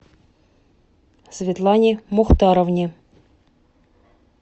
светлане мухтаровне